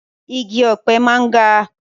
Igi ọ̀pẹ máa ń ga